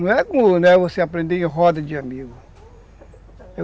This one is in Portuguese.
Não é com, não é você aprender em roda de amigo.